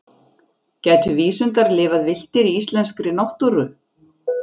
Gætu vísundar lifað villtir í íslenskri náttúru?